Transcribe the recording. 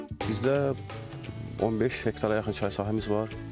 Bizdə 15 hektara yaxın çay sahəmiz var.